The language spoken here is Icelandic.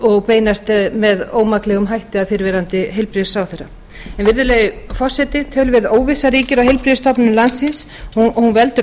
og beinast með ómaklegum hætti að fyrrverandi heilbrigðisráðherra virðulegi forseti töluverð óvissa ríkir á heilbrigðisstofnunum landsins hún veldur